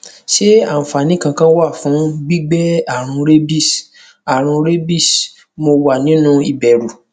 ṣé àfààní kankan wà fún gbígbé àrùn rabies àrùn rabies mo wà nínú ìbẹrù